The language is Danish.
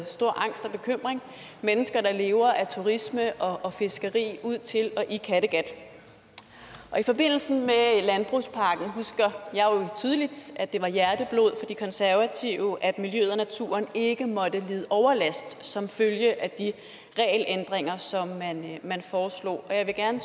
stor angst og bekymring mennesker der lever af turisme og fiskeri ud til og i kattegat i forbindelse med landbrugspakken husker jeg tydeligt at det var hjerteblod for de konservative at miljøet og naturen ikke måtte lide overlast som følge af de regelændringer som man man foreslog jeg vil gerne